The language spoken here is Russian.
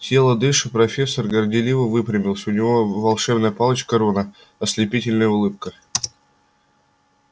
тяжело дыша профессор горделиво выпрямился у него в руке была волшебная палочка рона а на лице сверкала прежняя ослепительная улыбка